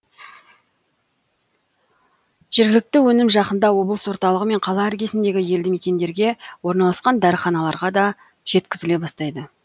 жергілікті өнім жақында облыс орталығы мен қала іргесіндегі елді мекендерге орналасқан дәріханаларға да жеткізіле бастайды